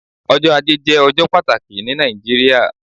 Ọjọ́ ajé jé ọjọ́ pàtàkì ní Nàìjíríà